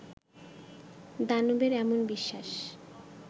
দানবের এমন বিশ্বাস